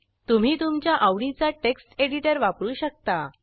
तुम्ही तुमच्या आवडीचा टेक्स्ट एडिटर वापरू शकता